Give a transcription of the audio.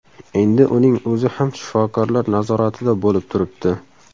Endi uning o‘zi ham shifokorlar nazoratida bo‘lib turibdi.